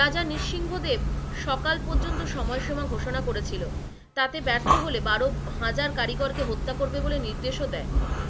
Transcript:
রাজা নিঃসিংহদেব সকাল পর্যন্ত সময়সীমা ঘোষনা করেছিল, তাতে ব্যার্থ হলে বারো হাজার কারিগর কে হত্যা করবে বলে নির্দেশও দেয়,